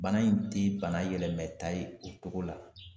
Bana in te bana yɛlɛmɛta ye o togo la